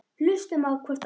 Hlustum á hvort annað.